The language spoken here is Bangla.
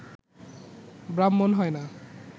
ব্রাহ্মণ হয় না